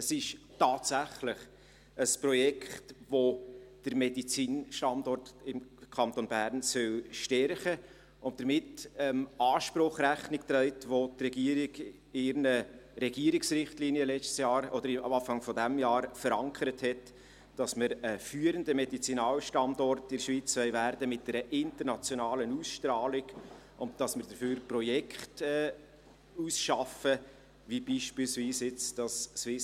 Es ist tatsächlich ein Projekt, welches den Medizinalstandort im Kanton Bern stärken soll und damit dem Anspruch Rechnung trägt, welcher die Regierung letztes Jahr oder Anfang dieses Jahres in ihren Regierungsrichtlinien verankert hat, wonach wir ein führender Medizinalstandort in der Schweiz mit internationaler Ausstrahlung werden wollen, und dass wir dafür Projekte ausarbeiten wie beispielsweise das SCDH.